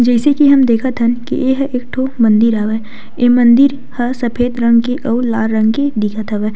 जइसे की हम देखत हन की एहा एक ठो मंदिर हवय ए मंदिर ह सफ़ेद रंग के अउ लाल रंग के दिखत हवय।